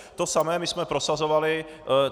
To samé my jsme prosazovali.